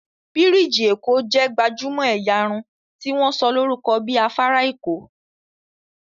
birigi Eko jé gbajúmò ẹ̀yà Irun tí wón sọ lórúko bí afárá Eko